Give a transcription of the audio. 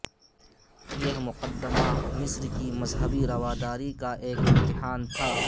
یہ مقدمہ مصر کی مذہبی رواداری کا ایک امتحان تھا